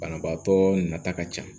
Banabaatɔ nata ka ca